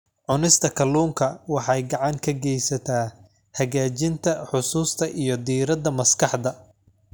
Cunista kalluunka waxay gacan ka geysataa hagaajinta xusuusta iyo diiradda maskaxda.